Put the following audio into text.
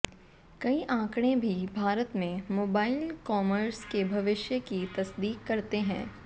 कई आंकड़े भी भारत में मोबाइल कॉमर्स के भविष्य की तस्दीक करते हैं